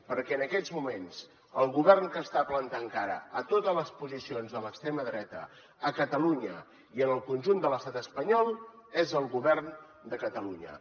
perquè en aquests moments el govern que està plantant cara a totes les posicions de l’extrema dreta a catalunya i en el conjunt de l’estat espanyol és el govern de catalunya